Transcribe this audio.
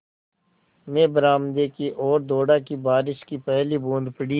मैं बरामदे की ओर दौड़ा कि बारिश की पहली बूँद पड़ी